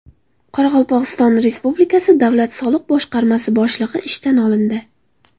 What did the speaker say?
Qoraqalpog‘iston Respublikasi davlat soliq boshqarmasi boshlig‘i ishdan olindi.